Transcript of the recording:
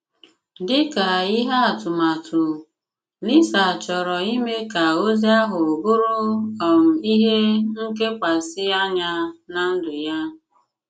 Dị̀ kà ihé atụmatụ, Lisa chọrọ̀ ime ka ozí ahụ bụrụ um ihé nkekwasi anya ná ndụ̀ ya.